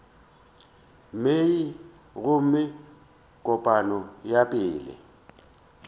mei gomme kopano ya pele